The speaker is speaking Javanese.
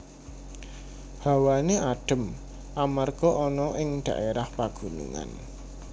Hawane adhem amarga ana ning daérah pagunungan